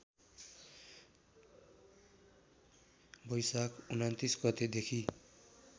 बैशाख २९ गतेदेखि